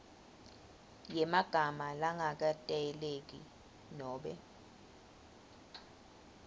yemagama langaketayeleki nobe